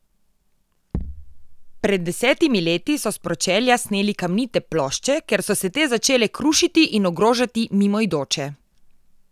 Pred desetimi leti so s pročelja sneli kamnite plošče, ker so se te začele krušiti in ogrožati mimoidoče.